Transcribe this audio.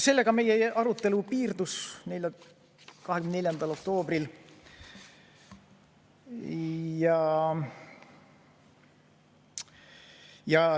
Sellega meie arutelu piirdus 24. oktoobril.